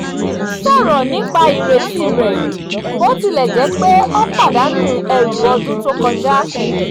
ó sọ̀rọ̀ nípa ireti rẹ̀ bó tilẹ̀ jẹ́ pé ó pàdánù ẹrù ọdún tó kọjá